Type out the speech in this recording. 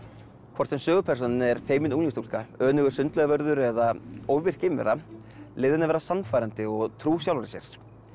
hvort sem sögupersónan er feimin unglingsstúlka önugur sundlaugarvörður eða ofvirk geimvera leyfið henni að vera sannfærandi og trú sjálfri sér